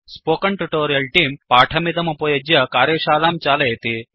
spoken tutorial तेऽं पाठमिदमुपयुज्य कार्यशालां चालयति